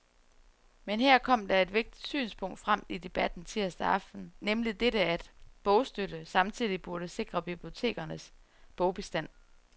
Men her kom der et vigtigt synspunkt frem i debatten tirsdag aften, nemlig dette, at bogstøtte samtidig burde sikre bibliotekernes bogbestand.